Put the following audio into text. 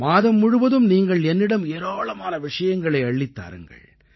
மாதம் முழுவதும் நீங்கள் என்னிடம் ஏராளமான விஷயங்களை அள்ளித் தாருங்கள்